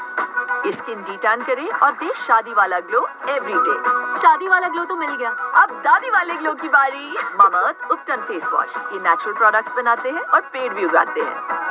ਇਸਕੀ ਕਰੇ ਅੋਰ ਦੇ ਸ਼ਾਦੀ ਵਾਲਾ glow everyday, ਸ਼ਾਦੀ ਵਾਲਾ glow ਤੋ ਮਿਲ ਗਿਆ, ਅਬ ਦਾਦੀ ਵਾਲੇ glow ਕੀ ਵਾਰੀ, face wash ਯੇਹ natural product ਬਨਾਤੇ ਹੈ ਅੋਰ ਪੇੜ ਵੀ ਉਗਾਤੇ ਹੈਂ।